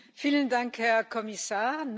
Vielen Dank, Herr Kommissar!